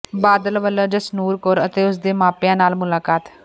ਬਾਦਲ ਵਲੋਂ ਜਸਨੂਰ ਕੌਰ ਅਤੇ ਉਸ ਦੇ ਮਾਪਿਆਂ ਨਾਲ ਮੁਲਾਕਾਤ